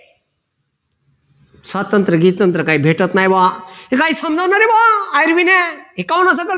स्वातंत्र बितंत्र काही भेटत नाही बुआ काय समजावणारे बुआ हे काहून असं करत